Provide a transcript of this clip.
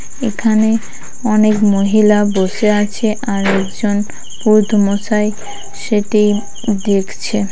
এখানে অনেক মহিলা বসে আছে আর একজন পুরুত মশাই সেটি দেখছে।